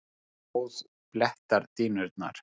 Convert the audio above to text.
Blóð blettar dýnurnar.